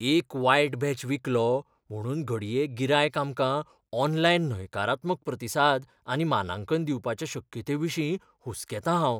एक वायट बॅच विकलो म्हुणून घडये गिरायक आमकां ऑनलायन न्हयकारात्मक प्रतिसाद आनी मानांकन दिवपाच्या शक्यतायेविशीं हुसकेतां हांव.